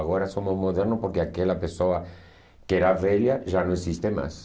Agora somos modernos porque aquela pessoa que era velha já não existe mais.